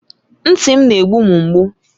Ntị m na-egbu m mgbu.